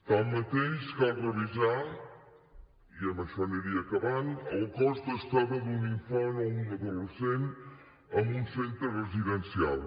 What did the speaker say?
així mateix cal revisar i amb això aniria acabant el cost d’estada d’un infant o un adolescent en un centre residencial